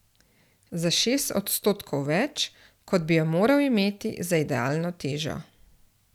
Za šest odstotkov več, kot bi jo moral imeti za idealno težo.